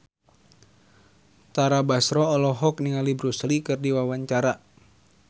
Tara Basro olohok ningali Bruce Lee keur diwawancara